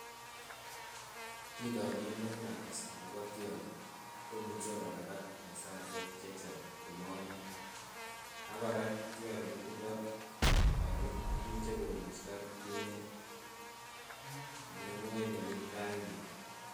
Otindoniot nekirakas akobo tionyi komuche kolabat en saisiek chechang komonuny ak kora tionyi kotindo kongu imuche kungusto kit ne nengoi nemii tainyin